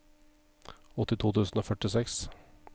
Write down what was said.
åttito tusen og førtiseks